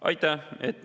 Aitäh!